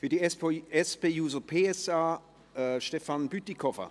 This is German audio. Für die SP-JUSO-PSA-Fraktion Stefan Bütikofer.